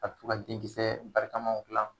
A bɛ to ka denkisɛ barikamaw dilan